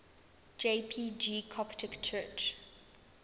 jpg coptic church